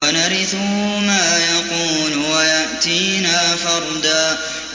وَنَرِثُهُ مَا يَقُولُ وَيَأْتِينَا فَرْدًا